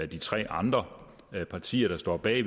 de tre andre partier der står bag